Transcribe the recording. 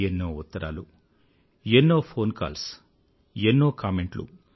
ఎన్నో ఉత్తరాలు ఎన్నో ఫోన్ కాల్స్ ఎన్నో కామెంట్లు